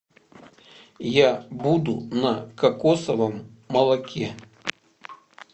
я буду на кокосовом молоке